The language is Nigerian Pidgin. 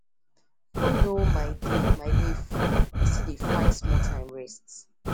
even though my day my day full I still dey find sometime rest